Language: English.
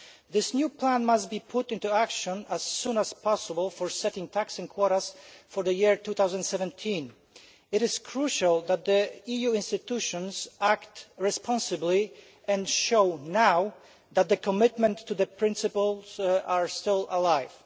This new plan must be put into action as soon as possible for setting total allowable catches and quotas for the year 2017. It is crucial that the EU institutions act responsibly and show, now, that commitment to the principles is still alive.